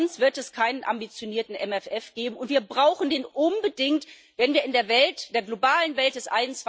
Sonst wird es keinen ambitionierten MFR geben, und wir brauchen den unbedingt, wenn wir in der globalen Welt des